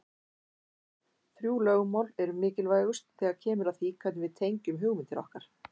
Þrjú lögmál eru mikilvægust þegar kemur að því hvernig við tengjum hugmyndir okkar.